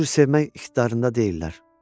o cür sevmək ixtidarında deyillər.